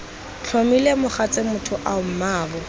tlhomile mogatse matlho ao mmaabo